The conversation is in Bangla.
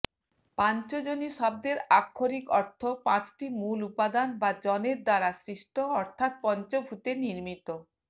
পাঞ্চজনী শব্দের আক্ষরিক অর্থ পাঁচটি মূল উপাদান বা জনের দ্বারা সৃষ্ট অর্থাৎ পঞ্চভূতে নির্মিত